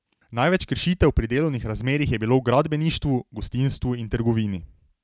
Največ kršitev pri delovnih razmerjih je bilo v gradbeništvu, gostinstvu in trgovini.